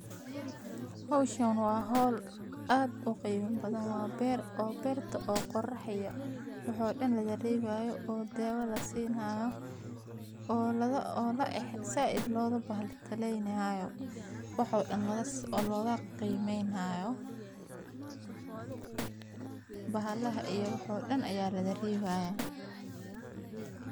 Hawshan waa hol aad u qeyb badan. Waa beer, oo beerta oo qorraxaya. Waxood in la daryeelayo oo dewada siinaayo. Oolado oo la ex sa idlooda baalitaanaynaayo. Waxood in la isticmaalo qaymeeynaya bahalaha iyo waxoodan ayaa la daryeelay.